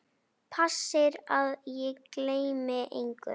Passir að ég gleymi engu.